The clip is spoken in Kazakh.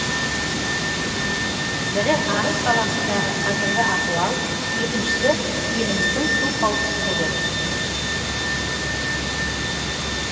бірі арыс қаласындағы қазіргі ахуал екіншісі еліміздің су қауіпсіздігі